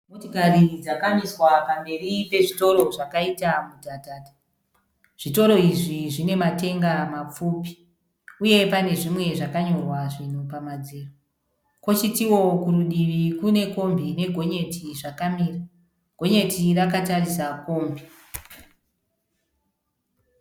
Motikari dzakamiswa pamberi pezvitoro zvakaita mudhadhadha. Zvitoro izvi zvine matenga mapfupi uye pane zvimwe zvakayorwa zvinhu pamadziro. Kochitowo kurutivi kune kombi nekonyeti zvakamira. Gonyeti rakatarisa kombi.